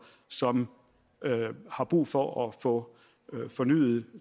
som har brug for at få fornyet